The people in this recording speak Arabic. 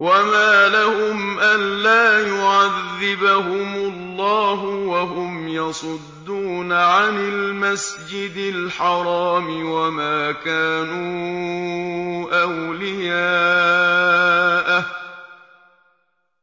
وَمَا لَهُمْ أَلَّا يُعَذِّبَهُمُ اللَّهُ وَهُمْ يَصُدُّونَ عَنِ الْمَسْجِدِ الْحَرَامِ وَمَا كَانُوا أَوْلِيَاءَهُ ۚ